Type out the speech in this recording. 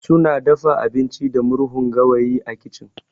Suna dafa abinci da murhun gawayi a kicin